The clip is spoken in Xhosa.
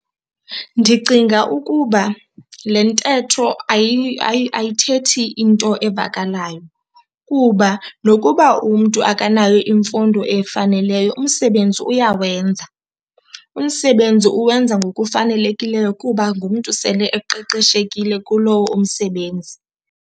Ndicinga ukuba le ntetho ayithethi into evakalayo kuba nokuba umntu akanayo imfundo efaneleyo umsebenzi uyawenza. Umsebenzi uwenza ngokufanelekileyo kuba ngumntu sele eqeqeshekile kulowo umsebenzi.